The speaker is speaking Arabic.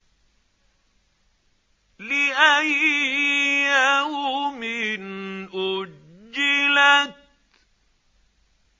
لِأَيِّ يَوْمٍ أُجِّلَتْ